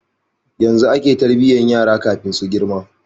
Yanzu ake tarbiyan yara kafin su girma